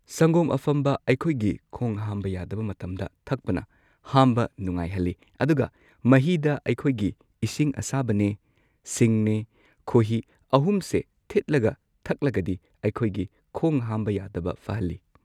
ꯁꯪꯒꯣꯝ ꯑꯐꯝꯕ ꯑꯩꯈꯣꯏꯒꯤ ꯈꯣꯡ ꯍꯥꯝꯕ ꯌꯥꯗꯕ ꯃꯇꯝꯗ ꯊꯛꯄꯅ ꯍꯥꯝꯕ ꯅꯨꯉꯥꯏꯍꯜꯂꯤ ꯑꯗꯨꯒ ꯃꯍꯤꯗ ꯑꯩꯈꯣꯏꯒꯤ ꯏꯁꯤꯡ ꯑꯁꯥꯕꯅꯦ ꯁꯤꯡꯅꯦ ꯈꯣꯢꯍꯤ ꯑꯍꯨꯝ ꯁꯦ ꯊꯤꯠꯂꯒ ꯊꯛꯂꯒꯗꯤ ꯑꯩꯈꯣꯏꯒꯤ ꯈꯣꯡꯍꯥꯝꯕ ꯌꯥꯗꯕ ꯐꯍꯜꯂꯤ꯫